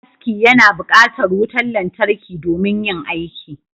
Shagon aski yana buƙatar wutar lantarki domin yin aiki